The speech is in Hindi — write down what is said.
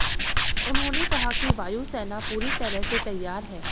उन्होंने कहा कि वायु सेना पूरी तरह से तैयार है